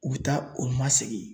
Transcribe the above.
U bɛ taa u ma segin